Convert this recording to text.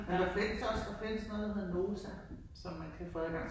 Men perfekt så der findes noget der hedder Nota som man kan få adgang